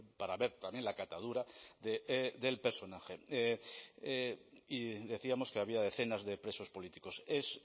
para ver también la catadura del personaje y decíamos que había decenas de presos políticos es